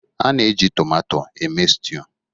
A na-eji tomato eme stew